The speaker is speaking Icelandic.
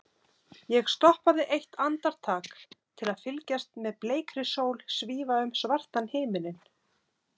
Ég stoppaði eitt andartak til að fylgjast með bleikri sól svífa um svartan himininn.